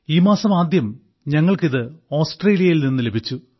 ഈ മാസം ആദ്യം നമുക്ക് ഇത് ഓസ്ട്രേലിയയിൽ നിന്ന് ലഭിച്ചു